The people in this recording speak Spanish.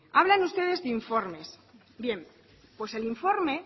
hablan ustedes de informes bien pues el informe